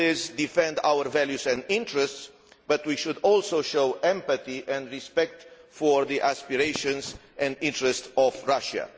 We should always defend our values and interests, but we should also show empathy and respect for the aspirations and interests of Russia.